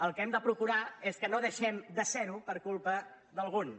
el que hem de procurar és que no deixem de ser ho per culpa d’alguns